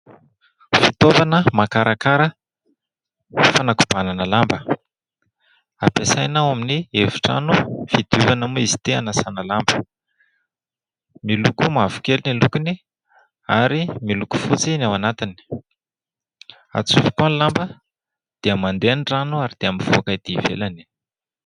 Fitaovana makarakara fanakobanana lamba, ampiasaina ao amin'ny efitrano fidiovana moa izy ity, hanasana lamba. Miloko mavokely ny lokony ary miloko fotsy ny ao anatiny. Atsofoka ao ny lamba dia mandeha ny rano ary dia mivoaka etỳ ivelany.